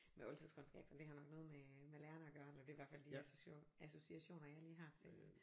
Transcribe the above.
Med oldtidskundskab for det har nok noget med med lærerne at gøre eller det er i hvert de association jeg lige har til